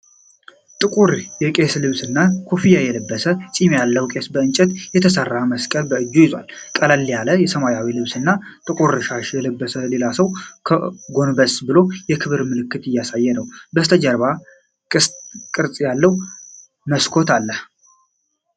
ጥቁር የቄስ ልብስና ኮፍያ የለበሰ ፂም ያለው ቄስ ከእንጨት የተሰራ መስቀል በእጁ ይዟል። ቀለል ያለ ሰማያዊ ልብስና ጥቁር ሻሽ የለበሰ ሌላ ሰው ጎንበስ ብሎ የክብር ምልክት እያሳይ ነው። ከበስተጀርባ ቅስት ቅርጽ ያለው መስኮት አለ።